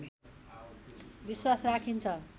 विश्वास राखिन्छ